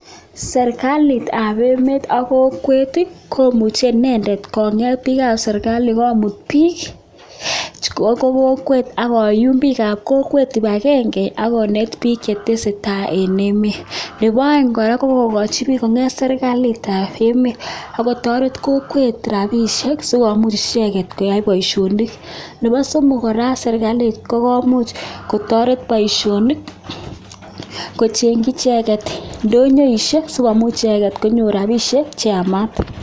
Serikalitab emet ak kokwet komuche inendet konget biikab serikali komuut biik chebo kokwet ak koyuum biikab kokwet kibagenge ako net biik kiit netesetai eng emet. Nebo aeng kora, kokochi biik konget serikalitab emet ak kotoret kokwet rapishek sikomuch icheket koyai boisionik. Nebo somok kora, serikalit kokomuch kotoret boisionik kochengchi icheket indonyoisiek sikomuch icheket konyo rapishiek cheyamat.